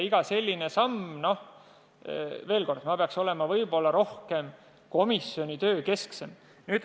Veel kord ütlen, et peaks rohkem keskenduma komisjoni tööle.